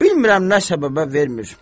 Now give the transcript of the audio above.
Bilmirəm nə səbəbə vermir.